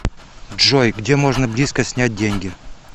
джой где можно близко снять деньги